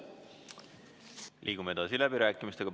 Liigume edasi läbirääkimistega.